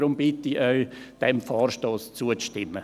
Deshalb bitte ich Sie, diesem Vorstoss zuzustimmen.